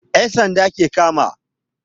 yan'sanda ke kama.